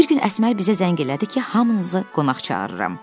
Bir gün Əsmər bizə zəng elədi ki, hamınızı qonaq çağırıram.